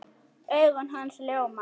Augu hans ljóma.